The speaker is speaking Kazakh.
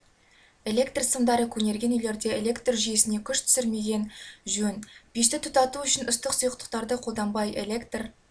электрсымдары көнерген үйлерде электр жүйесіне күш түсірмеген жөн пешті тұтату үшін ыстық сұйықтықтарды қолданбай электр